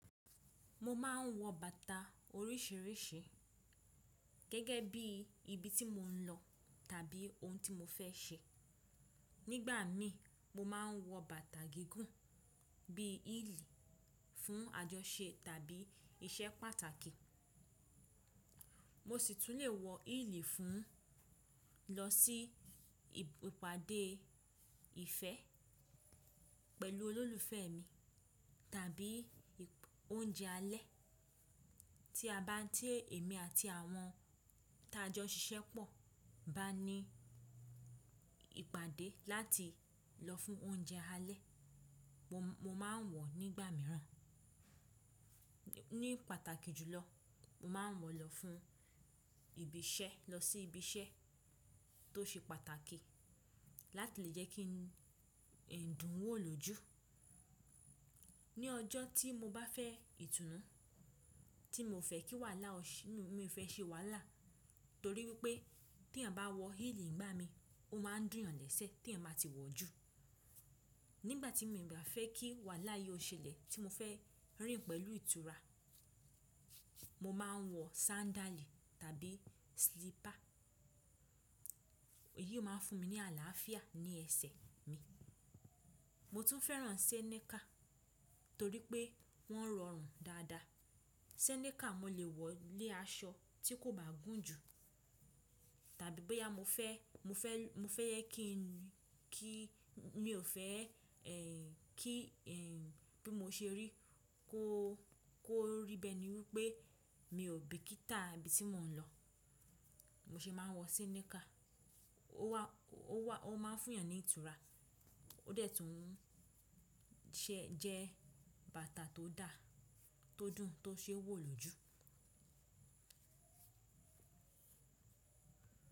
Mo máa ń wọ bàtà oríṣiríṣi gẹ́gẹ́ bí ibi tí mò ń lọ tàbí ohun tí mo fẹ́ ṣe. Nígbà míi mo máa ń wọ bàtà gígùn bíi hílì fún àjọṣe tàbí iṣẹ́ pàtàkì. Mo sì tún lè wọ hílì fún lọ sí ìpàdé ìfẹ́ pẹ̀lú olólùfẹ́ mi tàbí oúnjẹ alẹ́ tí a bá tí emí àti àwọn ta a jọ n ṣiṣẹ́ pọ̀ bá ní ìpàdé láti lọ fún oúnjẹ alẹ́. Mo máa ń wọ̀ nígbà mìíràn. Ní pàtàkì jùlọ, mo máa ń wọ̀ lọ fún ibi iṣẹ́, lọ sí ibi iṣẹ́ tó ṣe pàtàkì láti lè jẹ́ kí n dùn wò lójú. Ní ọjọ́ tí mo bá fẹ́ ìtunú, tí mi o fẹ́ kí wàhálà ó ṣṣ, mi fẹ́ ṣe wàhálà torí pé ti èèyàn bá wọ hílì n gbámi, ó máa ń dùn yàn lẹ́sẹ̀ tí èèyàn ba ti wọ̀ jù. Nígbà tí mi o bá fẹ́ kí wàhálà yi o ṣẹlẹ̀, tí mo fẹ́ rìn pẹ̀lú ìtura, mo máa ń wọ sándàlì tàbí sílípà. Èyí ó máa fún mi ní àlàáfíà ní ẹsẹ̀ mi. Mo tún fẹ́ràn Ṣẹ́nẹ́kà torí pé wọ́n rọrùn dáadáa. Ṣẹ́nẹ́kà mo lè wọ̀ lé aṣọ tí kò bá gùn jù. Tàbí boyà mo fẹ́, mo fẹ́, mo fẹ́ yẹ kí n kí, mi ò fẹ́ ẹ kí ẹ bí mo ṣe rí, kó, kó rí bẹ́ẹ̀ ni wí pé mi ò bíkítà ibi tí mò ń lọ. Mo ṣe máa ń wọ senikà. Ó wá, ó wá, ó máa ń fún èèyàn ní ìtura. Ó dẹ̀ tún ṣẹ jẹ́ bàtà tó dáa, tó dùn, tó ṣé wò lójú.